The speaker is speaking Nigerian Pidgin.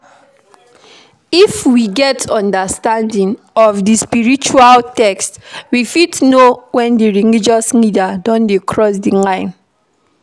If we get understanding of di spiritual text we fit know when di religious leader don dey cross di line